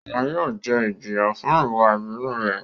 Oun yóò jẹ ijiya fun iwa ibinu rẹ